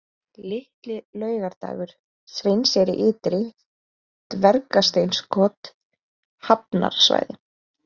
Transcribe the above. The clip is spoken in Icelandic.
Litli-Laugardalur, Sveinseyri-Ytri, Dvergasteinskot, Hafnarsvæði